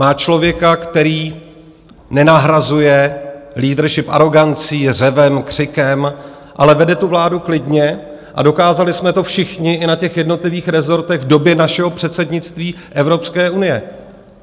Má člověka, který nenahrazuje leadership arogancí, řevem, křikem, ale vede tu vládu klidně, a dokázali jsme to všichni i na těch jednotlivých resortech v době našeho předsednictví Evropské unie.